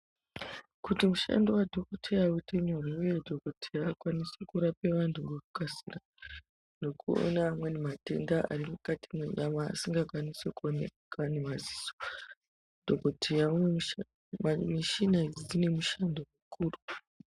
Kuti mushando wa dhokoteya uite nyore uye dhokoteya akwanise kurapa vantu ngeku kasira nokuona amweni matenda ari mukati me nyama asinga kwanisi kuoneka ne maziso mishina idzi dzine mushando mukuru.